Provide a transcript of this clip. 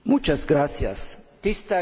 Tisztelt Cioloş Biztos Úr!